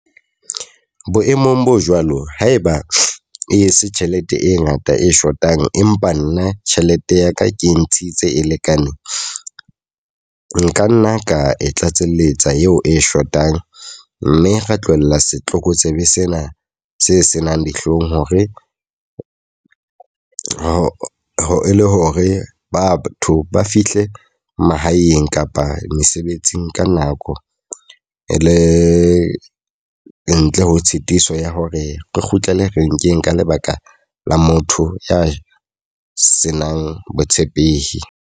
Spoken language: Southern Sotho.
Boemong bo jwalo, haeba e se tjhelete e ngata e shotang. Empa nna tjhelete ya ka ke ntshitse e lekaneng. Nka nna ka e tlatselletsa eo e shotang. Mme ra tlohella setlokotsebe sena se senang dihlong hore e le hore batho ba fihle mahaeng kapa mesebetsing ka nako. E le ntle ho tshitiso ya hore re kgutlele renkeng ka lebaka la motho ya senang botshepehi.